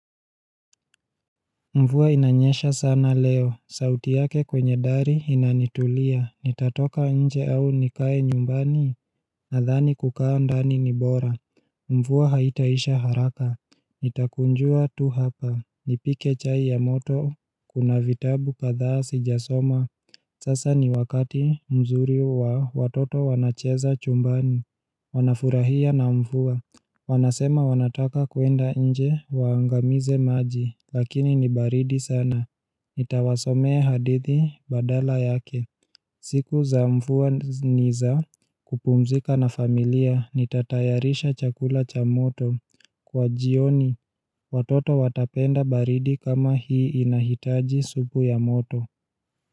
Mvua inanyesha sana leo, sauti yake kwenye dari inanitulia, nitatoka nje au nikae nyumbani, nadhani kukaa ndani ni bora. Mvuwa haitaisha haraka, nitakunjua tu hapa, nipike chai ya moto, kuna vitabu kadhaa sijasoma, sasa ni wakati mzuri wa watoto wanacheza chumbani, wanafurahia na mvua. Wanasema wanataka kuenda nje waangamize maji lakini ni baridi sana Nitawasomee hadithi badala yake siku za mfuwa ni za kupumzika na familia nitatayarisha chakula cha moto Kwa jioni watoto watapenda baridi kama hii inahitaji supu ya moto.